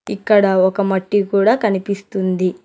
ఇక్కడ ఒక మట్టి కూడా కనిపిస్తుంది.